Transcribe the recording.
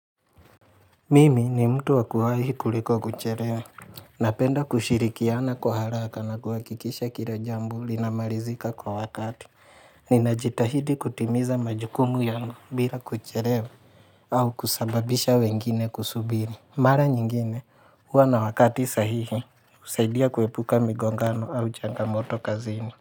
Mimi ni mtu wa kuwahi kuliko kucherewa. Napenda kushirikiana kwa haraka na kuhakikisha kila jambo linamarizika kwa wakati. Ninajitahidi kutimiza majukumu yangu bira kucherewa au kusababisha wengine kusubiri. Mara nyingine, huwa na wakati sahihi, husaidia kuepuka migongano au changamoto kazini.